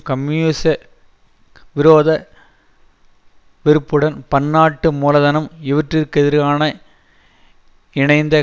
கம்யூனிசவிரோத வெறுப்புடன் பன்னாட்டு மூலதனம் இவற்றுக்கெதிரான இணைந்த